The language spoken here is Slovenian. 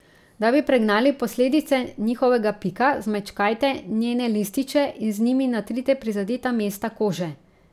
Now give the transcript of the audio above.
Da bi pregnali posledice njihovega pika, zmečkajte njene lističe in z njimi natrite prizadeta mesta kože.